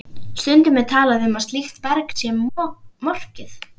Stundum er talað um að slíkt berg sé morkið.